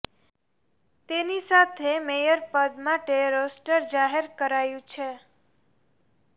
તેની સાથે મેયર પદ માટે રોસ્ટર જાહેર કરાયું છે